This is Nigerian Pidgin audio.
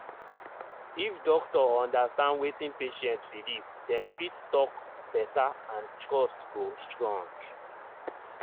if doctor understand wetin patient believe dem fit talk better and trust go strong.